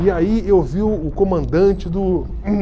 E aí eu vi o o comandante do